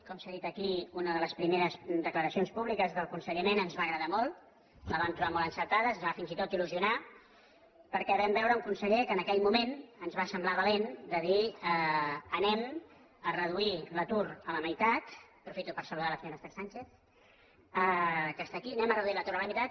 com s’ha dit aquí una de les primeres declaracions públiques del conseller mena ens va agradar molt la vam tro·bar molt encertada ens va fins i tot il·lusionar per·què vam veure un conseller que en aquell moment ens va semblar valent de dir reduirem l’atur a la mei·tat aprofito per saludar la senyora esther sánchez que està aquí reduirem l’atur a la meitat